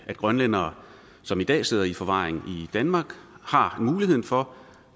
at grønlændere som i dag sidder i forvaring i danmark har mulighed for